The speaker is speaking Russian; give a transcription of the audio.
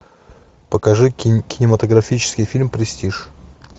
покажи кинематографический фильм престиж